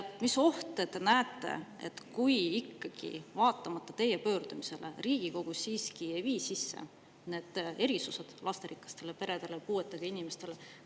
Mis ohte te näete, kui vaatamata teie pöördumisele Riigikogu siiski ei kehtesta erisusi lasterikastele peredele ja puuetega inimestele?